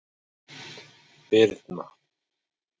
Birna